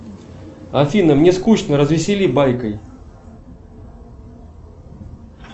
афина мне скучно развесели байкой